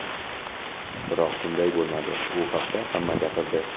Biroq, bunday bo‘lmadi, u haqda hamma gapirdi.